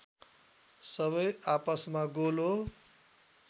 सबै आपसमा गोलो